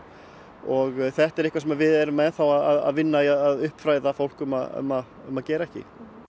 og þetta er eitthvað sem við erum enn þá að vinna í að uppfræða fólk um að um að um að gera ekki